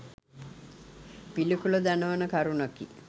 පිළිකුල දනවන කරුණකි.